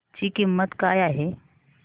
ची किंमत काय आहे